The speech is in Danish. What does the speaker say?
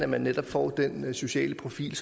man netop får den sociale profil